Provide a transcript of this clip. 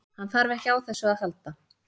Hann þarf ekki á þessu að halda.